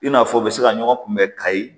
I n'a fɔ u bɛ se ka ɲɔgɔn kunbɛ kayi